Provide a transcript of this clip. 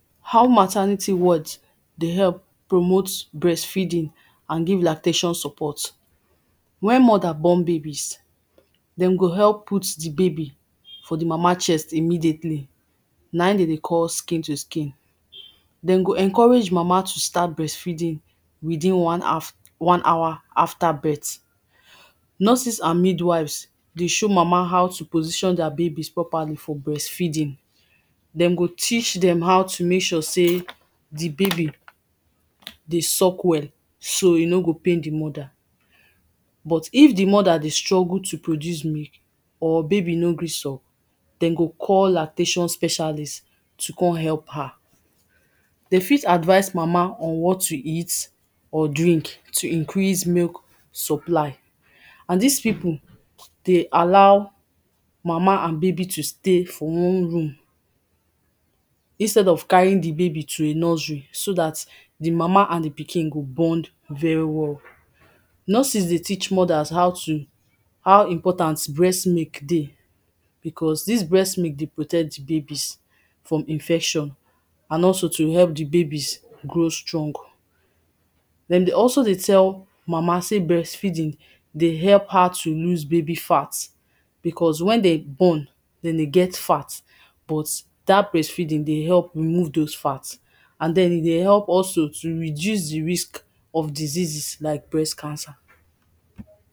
how maternity wards dey help promote breastfeeding and give lactation support we?n m??da?s b??n be?i?bi?s dem go help put the baby for the mama chest immediately na it dem dey call skin to skin dem go encourage mama to start breastfeeding within one haf one hour after birth nurses and midwives dey show mama how to position their breast properly for breastfeeding dem go teach them how to make sure say the baby dey suck wel so e no go pain the mother but if the mother dey struggle to produce milk or baby no gree suck dem go call lactation specialist to come help her dem fit advice mama on what to eat or drink to increase milk supply and these people dey allow mama and baby to stay for one room instead of carrying the baby to a nursery so that the mama and the pikin go bond very well nurses dey teach mothers how to how important breast milk dey because this breat milk dey protect babies from infection and also to help the babies grow strong dem dey also dey tell mama sey breastfeeding dey help her dey loose baby fat because when dem born dem dey get fat but that breastfeeding dey help remove those fat and then e go help also to reduce the risk of diseases like breast cancer